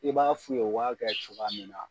I b'a f'u ye u b'a kɛ cogoya min na